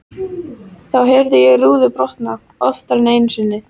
Þá heyrði ég rúður brotna, oftar en einu sinni.